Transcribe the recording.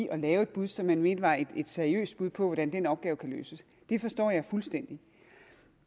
at lave et bud som man mente var et seriøst bud på hvordan den opgave kan løses det forstår jeg fuldstændig